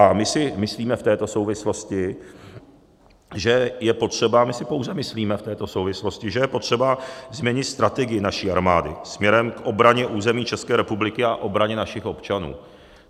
A my si myslíme v této souvislosti, že je potřeba, my si pouze myslíme v této souvislosti, že je potřeba změnit strategii naší armády směrem k obraně území České republiky a obraně našich občanů.